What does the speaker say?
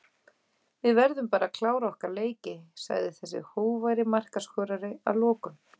Við verðum bara að klára okkar leiki sagði þessi hógværi markaskorari að lokum.